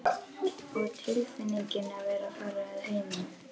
Og tilfinningin að vera að fara að heiman.